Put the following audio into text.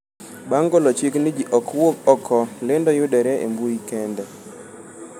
Bang' golo chik ni ji ok wuog oko, lendo yudore e mbuyi kende.